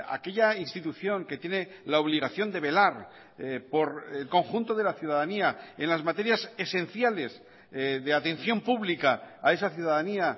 aquella institución que tiene la obligación de velar por el conjunto de la ciudadanía en las materias esenciales de atención pública a esa ciudadanía